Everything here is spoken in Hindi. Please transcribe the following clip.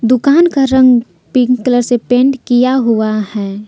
दुकान का रंग पिंक कलर से पेंट किया हुआ है।